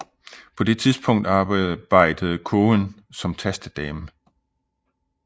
På det tidspunkt arbejde Cowen som tastedame